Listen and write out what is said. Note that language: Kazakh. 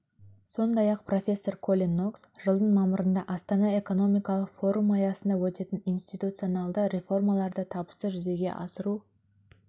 сондай-ақ профессор колин нокс жылдың мамырында астана экономикалық форумы аясында өтетін институционалды реформаларды табысты жүзеге асыру